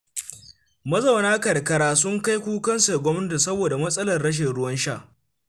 Mazauna karkara sun kai kukansu ga gwamnati saboda matsalar rashin ruwan sha.